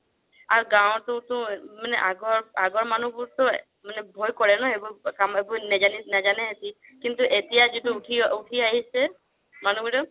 আৰু গাওঁতটো আগৰ, আগৰ মানুহবোৰটো মানে ভয় কৰে ন এইবোৰ নেজানে সিহতি কিন্তু এতিয়া যিতো উথি আহিছে মানুহবোৰে